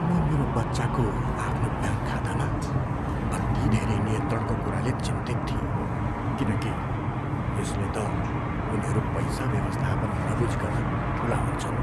म मेरो बच्चाको आफ्नो ब्याङ्क खातामा अति धेरै नियन्त्रणको कुराले चिन्तित थिएँ किनकि यसले त उनीहरू पैसा व्यवस्थापन नबुझिकन ठुला हुन्छन्।